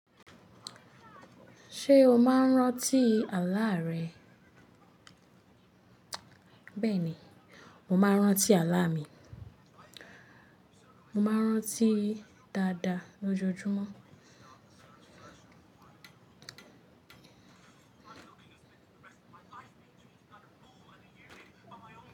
Ṣé o máa ń rántí àlá rẹ? Bẹ́ẹ̀ ni, mo máa ń rántí àlá mi. Mo máa ń rántí dáadáa lójoojúmọ́.